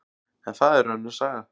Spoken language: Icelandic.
En það er önnur saga.